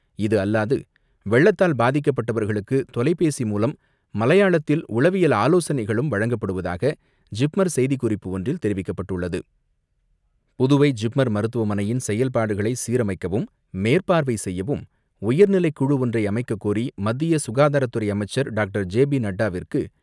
இது அல்லாது வெள்ளத்தால் பாதிக்கப்பட்டவர்களுக்கு தொலைபேசி மூலம் மலையாளத்தில் உளவியல் ஆலோசனைகளும் வழங்கப்படுவதாக ஜிப்மர் செய்திக்குறிப்பு ஒன்றில் தெரிவிக்கப்பட்டுள்ளது. புதுவை ஜிப்மர் மருத்துவமனையின் செயல்பாடுகளை சீரமைக்கவும் மேற்பார்வை செய்யவும் உயர்நிலைக் குழு ஒன்றை அமைக்கக் கோரி மத்திய சுகாதாரத்துறை அமைச்சர் டாக்டர். J P நட்டாவிற்கு